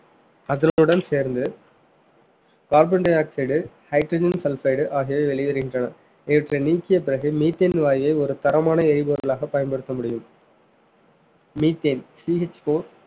அதனுடன் சேர்ந்து carbon dioxide, hydrogen sulphide ஆகியவை வெளியேறுகின்றன இவற்றை நீக்கிய பிறகு methane வாயு ஒரு தரமான எரிபொருளாக பயன்படுத்த முடியும் methaneCHfour